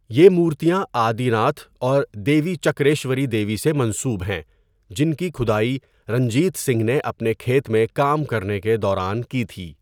یہ مورتیاں آدی ناتھ اور دیوی چکریشوری دیوی سے منسوب ہیں جن کی کھدائی رنجیت سنگھ نے اپنے کھیت میں کام کرنے کے دوران کی تھی۔